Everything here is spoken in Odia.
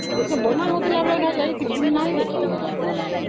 ତିଆରି ହେଲାବେଳେ ଯାଇଥିଲି ହେଲେ ଦେଖିନାହିଁ